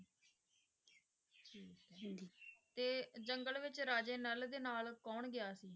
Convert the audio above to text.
ਤੇ ਜੰਗਲ ਵਿੱਚ ਰਾਜੇ ਨਲ ਦੇ ਨਾਲ ਕੌਣ ਗਿਆ ਸੀ?